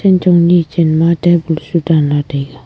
kanchong ni chan ma tabul chu dan ley taiga.